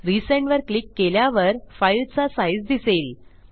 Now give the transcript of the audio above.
resend वर click केल्यावर फाईलचा साइझ दिसेल